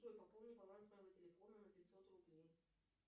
джой пополни баланс моего телефона на пятьсот рублей